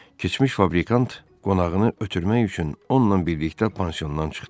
Keçmiş fabrikant qonağını ötürmək üçün onunla birlikdə pansiondan çıxdı.